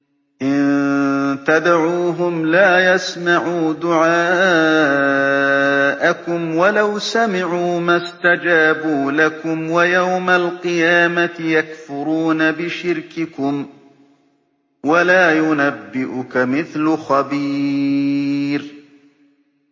إِن تَدْعُوهُمْ لَا يَسْمَعُوا دُعَاءَكُمْ وَلَوْ سَمِعُوا مَا اسْتَجَابُوا لَكُمْ ۖ وَيَوْمَ الْقِيَامَةِ يَكْفُرُونَ بِشِرْكِكُمْ ۚ وَلَا يُنَبِّئُكَ مِثْلُ خَبِيرٍ